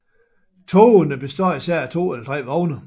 Togene består især af to eller tre vogne